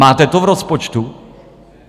Máte to v rozpočtu?